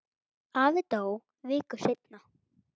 Afi dó viku seinna.